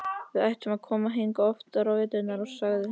Við ættum að koma hingað oftar á veturna, sagði hann.